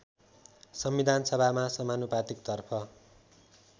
संविधानसभामा समानुपातिकतर्फ